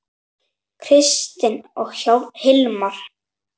Kristin og Hilmar.